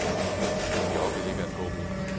De orkede ikke at gå mere.